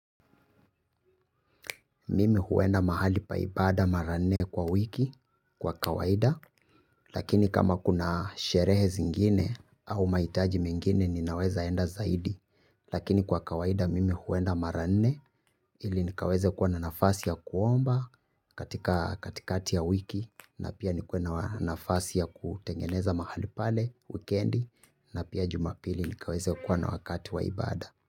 Mimi huenda mahali pa ibada mara nne kwa wiki kwa kawaida. Lakini kama kuna sherehe zingine au mahitaji mengine ninaweza enda zaidi. Lakini kwa kawaida mimi huenda mara nne ili nikaweze kuwa na nafasi ya kuomba katika kati kaati ya wiki. Na pia nikuwe na nafasi ya kutengeneza mahali pale wikendi na pia jumapili nikaweze kuwa na wakati wa ibada.